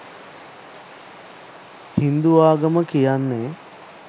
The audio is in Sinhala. හින්දු ආගම කියන්නේ